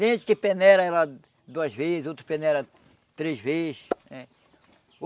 Gente que peneira ela duas vez, outro que peneira três vez eh.